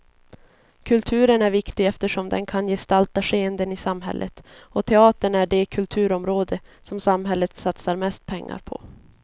Kulturen är viktig eftersom den kan gestalta skeenden i samhället, och teatern är det kulturområde som samhället satsar mest pengar på.